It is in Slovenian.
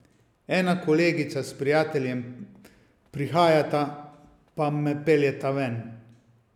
Ena kolegica s prijateljem prihajata, pa me peljeta ven.